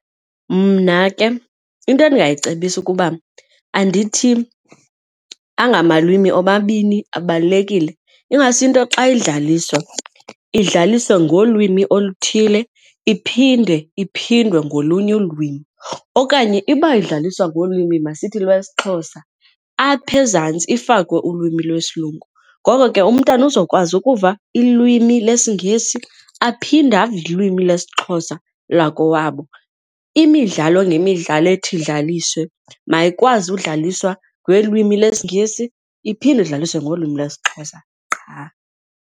Mna ke into endingayicebisa ukuba andithi anga malwimi omabini abalulekile ingase into xa idlaliswa idlaliswe ngolwimi oluthile iphinde iphindwe ngolunye ulwimi. Okanye iba edlaliswa ngolwimi, masithi lwesiXhosa, apha ezantsi ifakwe ulwimi lwesilungu, ngoko ke umntana uzokwazi ukuva ilwimi lesiNgesi aphinde ave ilwimi lesiXhosa lakowabo. Imidlalo ngemidlalo ethi idlaliswe mayikwazi udlaliswa ngelwimi lwesNgesi iphinde udlaliswe ngolwimi lwesiXhosa qha.